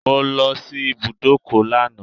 I went to the bus stop yesterday